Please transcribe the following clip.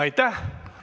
Aitäh!